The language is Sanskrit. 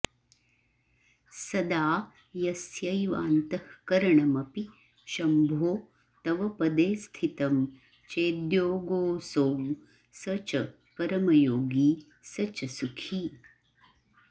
सदा यस्यैवान्तःकरणमपि शम्भो तव पदे स्थितं चेद्योगोऽसौ स च परमयोगी स च सुखी